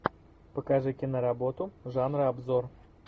покажи киноработу жанра обзор